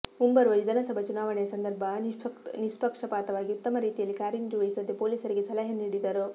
ಮುಂಬರುವ ವಿಧಾನಸಭಾ ಚುನಾವಣೆಯ ಸಂದರ್ಭ ನಿಷ್ಪಕ್ಷಪಾತವಾಗಿ ಉತ್ತಮ ರೀತಿಯಲ್ಲಿ ಕಾರ್ಯನಿರ್ವಹಿಸುವಂತೆ ಪೊಲೀಸರಿಗೆ ಸಲಹೆ ನೀಡಿದರು